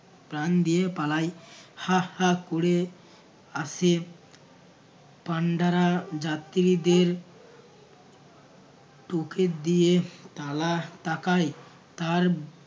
প্রাণ দিয়ে পালাই হা হা ক'রে আসে পান্ডারা যাত্রীদের টুকে দিয়ে তালা টাকাই তার